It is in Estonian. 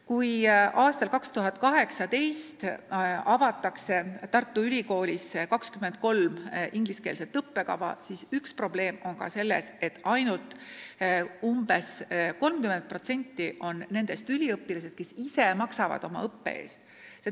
Kui aastal 2018 avatakse Tartu Ülikoolis 23 ingliskeelset õppekava, siis üks probleem on ka selles, et ainult umbes 30% on nendest noored, kes ise maksavad oma õppe eest.